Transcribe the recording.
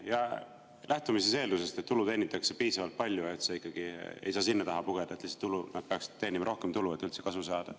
Ja lähtume eeldusest, et tulu teenitakse piisavalt palju, et sa ei saaks selle taha pugeda, et nad peaksid teenima rohkem tulu, et üldse kasu saada.